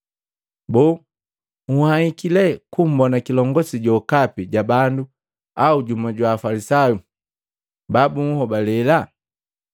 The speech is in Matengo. Boo nhwahiki lee kumbona kilongosi jokapi ja bandu au jumu jwa Afalisayu babunhobalela?